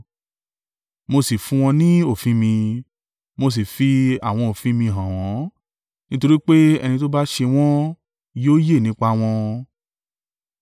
Mo sì fún wọn ni òfin mi, mo sì fi àwọn òfin mi hàn wọ́n; nítorí pé ẹni tó bá ṣe wọ́n yóò yè nípa wọn.